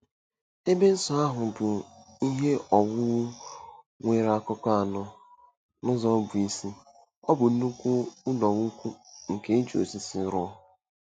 Ebe nsọ ahụ bụ ihe owuwu nwere akụkụ anọ, n'ụzọ bụ́ isi, ọ bụ nnukwu ụlọikwuu nke e ji osisi rụọ.